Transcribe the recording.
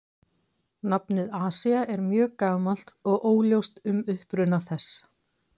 Nafnið Asía er mjög gamalt og óljóst um uppruna þess.